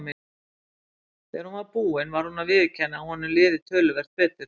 Þegar hún var búin varð hann að viðurkenna að honum liði töluvert betur.